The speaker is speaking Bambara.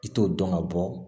I t'o dɔn ka bɔ